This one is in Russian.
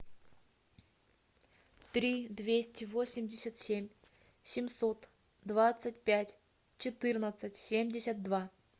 три двести восемьдесят семь семьсот двадцать пять четырнадцать семьдесят два